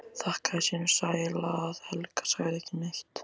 Þakkaði sínum sæla að Helga sagði ekki neitt.